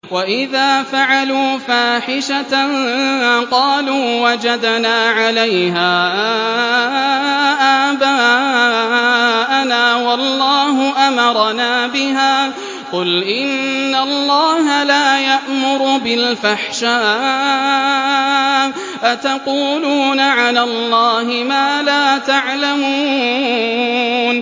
وَإِذَا فَعَلُوا فَاحِشَةً قَالُوا وَجَدْنَا عَلَيْهَا آبَاءَنَا وَاللَّهُ أَمَرَنَا بِهَا ۗ قُلْ إِنَّ اللَّهَ لَا يَأْمُرُ بِالْفَحْشَاءِ ۖ أَتَقُولُونَ عَلَى اللَّهِ مَا لَا تَعْلَمُونَ